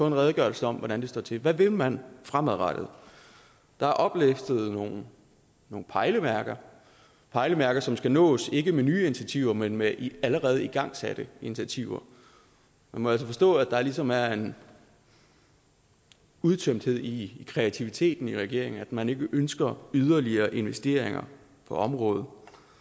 en redegørelse om hvordan det står til hvad vil man fremadrettet der er oplistet nogle pejlemærker pejlemærker som skal nås ikke med nye initiativer men med allerede igangsatte initiativer man må altså forstå at der ligesom er en udtømthed i kreativiteten i regeringen altså at man ikke ønsker yderligere investeringer på området